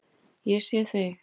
Ég sé þig.